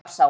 Úlfarsá